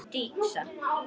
Hún Dísa?